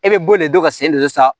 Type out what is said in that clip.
E bɛ bo nin de dɔn ka sen de san